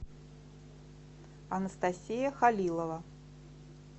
анастасия халилова